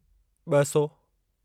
ॿ सौ